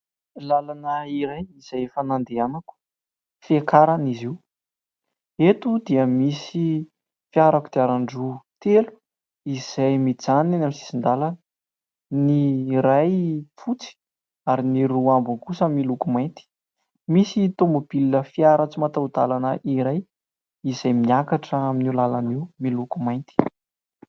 Lalana iray izay efa nandehanako, fiakarana izy io ; eto dia misy fiara kodiaran-droa telo izay mijanona eny amin' ny sisin-dalana : ny iray fotsy ary ny roa ambiny kosa miloko mainty. Misy tômôbilina fiara tsy mataho-dalana iray izay miakatra amin' io lalana io miloko mainty.